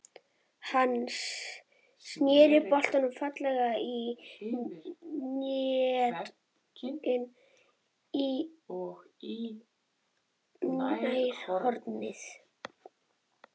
Hann snéri boltann fallega yfir vegginn og í nærhornið.